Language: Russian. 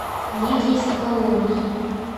лидии соколовой